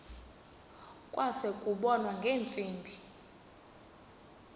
kwase kubonwa ngeentsimbi